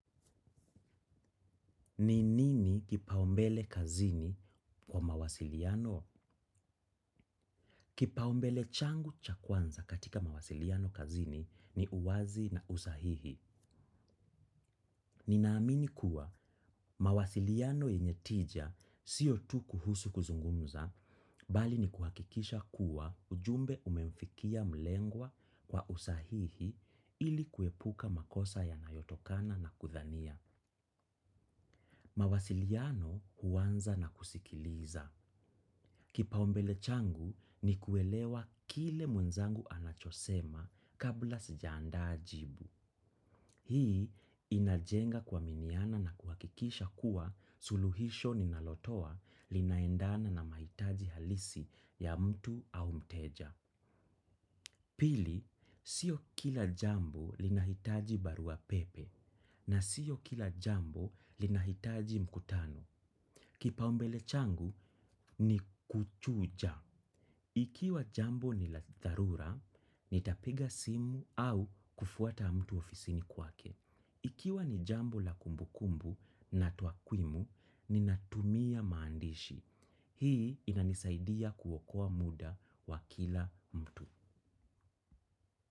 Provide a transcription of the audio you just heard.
Ni nini kipaumbele kazini kwa mawasiliano? Kipaombele changu cha kwanza katika mawasiliano kazini ni uwazi na usahihi. Ninaamini kuwa mawasiliano yenye tija siyo tu kuhusu kuzungumza, bali ni kuhakikisha kuwa ujumbe umemfikia mlengwa kwa usahihi ili kuepuka makosa ya nayotokana na kuthania. Mawasiliano huanza na kusikiliza. Kipaombele changu ni kuelewa kile mwenzangu anachosema kabla sijaanda jibu. Hii inajenga kuaminiana na kuakikisha kuwa suluhisho ninalotoa linaendana na mahitaji halisi ya mtu au mteja. Pili, sio kila jambo linahitaji barua pepe na sio kila jambo linahitaji mkutano. Kipa umbele changu ni kuchuja. Ikiwa jambo ni latharura, nitapiga simu au kufuata mtu ofisini kwake. Ikiwa ni jambo la kumbukumbu na tuakwimu, ninatumia maandishi. Hii inanisaidia kuokoa muda wa kila mtu.